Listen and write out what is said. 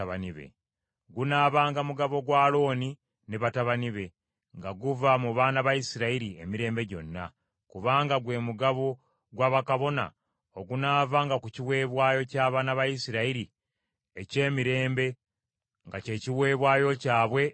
Gunaabanga mugabo gwa Alooni ne batabani be, nga guva mu baana ba Isirayiri emirembe gyonna; kubanga gwe mugabo gwa bakabona ogunaavanga ku kiweebwayo ky’abaana ba Isirayiri eky’emirembe, nga kye kiweebwayo kyabwe eri Mukama .